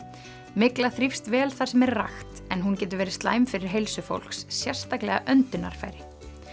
mygla þrífst vel þar sem er rakt en hún getur verið slæm fyrir heilsu fólks sérstaklega öndunarfæri